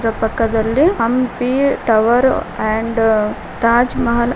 ಅವರ ಪಕ್ಕದಲ್ಲಿ Hampi tower and Taj Mahal--